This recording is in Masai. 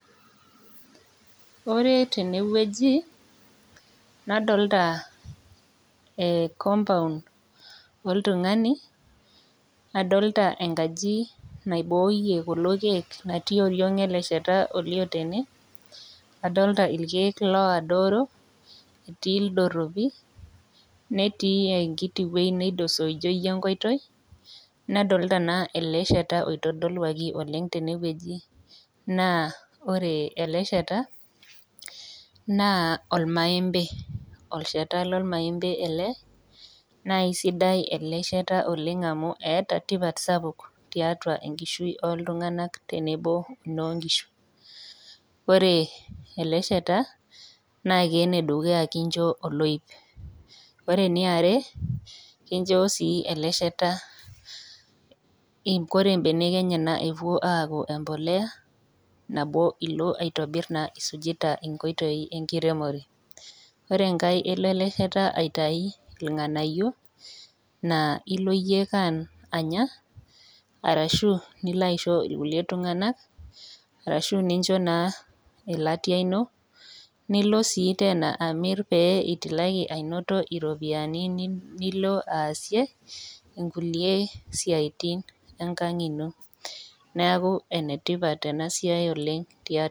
Ore tene wueji nadolita compound oltung'ani nadolita enkajit naiboyie kulo keek naati tioriog ele shata tene adolita irkeek adoru etii ildoropu netii enkiti wueji naijio enkoitoi nadolita ele shata oitodoluaki tene oleng nÃ ore ele shata naa ormaembei olchata loo ormaembei ele naa esidai ele shata oleng amu etaa tipat sapuk oleng tiatua enkishui oo iltung'ana tenebo enoo nkishu ore ele shata ene dukuya naa kincho oloip ore entoki niarr kicho sii ele shata ore mbeneke enyena epuo aaku embolea nilo naa aitobir esujita nkoitoi enkiremore ore enkae elo ele shata aitau irng'anayio naa eloo eyie Anya ashu elo aishoo irkulie tung'ana arashu ninjoo elatia eno nilo sii Tena amir pee etumoki anoto eropiani nilo asie enkulie siatin enkag ino neeku enetipat ena siai oleng